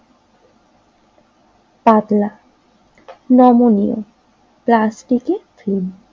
পাতলা নমনীয় প্লাস্টিকের থলি।